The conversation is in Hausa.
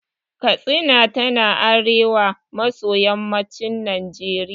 Katsina tana arewa maso yammacin Najeriya.